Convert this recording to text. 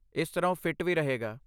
ਇਸ ਤਰ੍ਹਾਂ ਉਹ ਫਿੱਟ ਵੀ ਰਹੇਗਾ।